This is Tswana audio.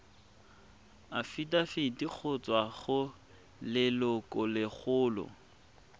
afitafiti go tswa go lelokolegolo